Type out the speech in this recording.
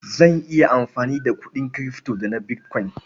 Zan iya amfani da kuɗin kirifto da na bitkwain.